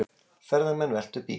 Ferðamenn veltu bíl